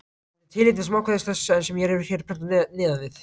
Þetta er tilefni til smákvæðis þess, sem hér er prentað neðan við.